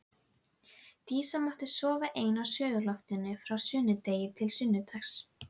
Dísa mátti sofa ein á suðurloftinu frá sunnudegi til sunnudags.